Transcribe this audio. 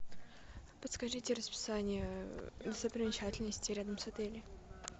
подскажите расписание достопримечательностей рядом с отелем